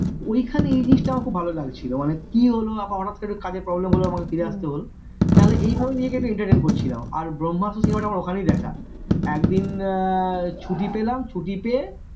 ওইখানে এই জিনিস আমার খুব ভালো লাগছিল মানে কি লহো হঠাৎ করে একটু কাজের problem হলো আমাকে ফিরে আসতে হলো না হলে এইভাবে নিজেকে একটু entertain করছিলাম আর ব্রহ্মাস্ত্র cinema টা আমার ওখানেই দেখা একদিন ছুটি পেলাম ছুটি পেয়ে